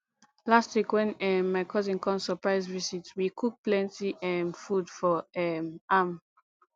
last week wen um my cousin come surprise visit we cook plenty um food for um am